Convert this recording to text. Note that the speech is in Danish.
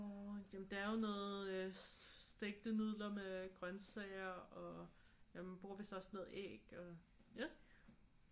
Jamen der er jo noget stegte nudler med grøntsager og ja man bruger vidst også noget æg og ja